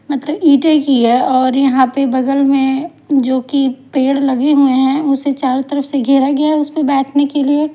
मतलब ईटे की है और यहां पे बगल में जो कि पेड़ लगे हुए हैं उसे चारों तरफ से घेरा गया है उस पे बैठने के लिए--